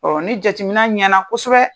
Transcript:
ni jateminɛ ɲɛna kosɛbɛ